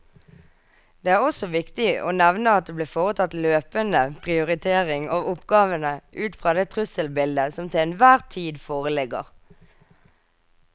Det er også viktig å nevne at det blir foretatt løpende prioritering av oppgavene ut fra det trusselbildet som til enhver tid foreligger.